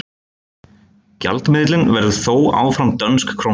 gjaldmiðillinn verður þó áfram dönsk króna